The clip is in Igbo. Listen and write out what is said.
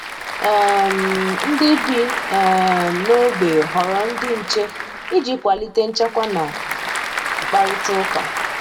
um Ndị bi um n'ogbe họrọ ndị nche iji kwalite nchekwa na mkparitauka